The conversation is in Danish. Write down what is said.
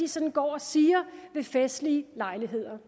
sådan går og siger ved festlige lejligheder